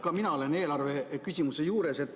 Ka mina olen eelarve küsimuse juures.